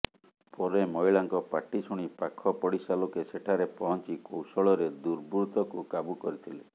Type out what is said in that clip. ପରେ ମହିଳାଙ୍କ ପାଟି ଶୁଣି ପାଖ ପଡ଼ିଶା ଲୋକେ ସେଠାରେ ପହଞ୍ଚି କୌଶଳରେ ଦୁର୍ବୃତ୍ତକୁ କାବୁ କରିଥିଲେ